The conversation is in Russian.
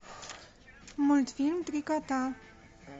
мультфильм три кота